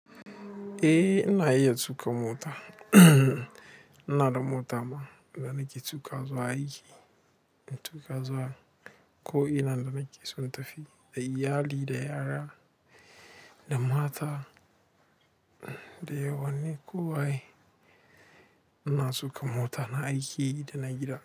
Eh ina iya tuƙa mota. Ina da mota ma da nake tuƙa wa zuwa aiki, nake tuƙa zuwa ko'ina da nake so in tafi, da iyali da yara, da mata, da yawani kowaye. Ina tsuka mota na aiki da na gida.